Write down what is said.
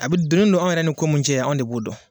A bɛ a donnen do anw yɛrɛ ni ko min cɛ anw de b'o dɔn.